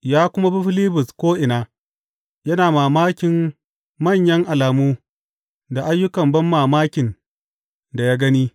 Ya kuma bi Filibus ko’ina, yana mamakin manyan alamu da ayyukan banmamakin da ya gani.